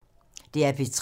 DR P3